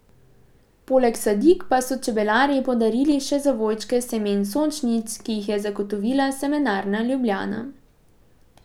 Poleg sadik pa so čebelarji podarili še zavojčke semen sončnic, ki jih je zagotovila Semenarna Ljubljana.